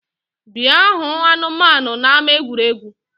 Bịa hụ anụmanu n’ama egwuregwu